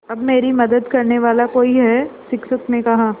अब मेरी मदद करने वाला कोई है शिक्षक ने कहा